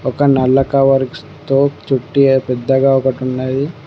ఒక నల్ల కవర్స్తో చుట్టి పెద్దగా ఒకటున్నది.